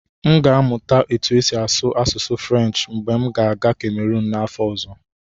M ga-amụta otú e si asụ asụsụ Frenshi mgbe m ga-aga kamerun n'afọ ọzọ.